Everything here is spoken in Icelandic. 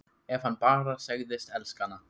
Ef hann bara segðist elska hana: